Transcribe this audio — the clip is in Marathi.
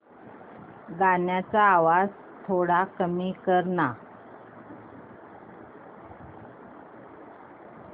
गाण्याचा आवाज थोडा कमी कर ना